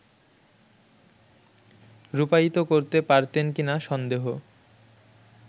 রূপায়িত করতে পারতেন কিনা সন্দেহ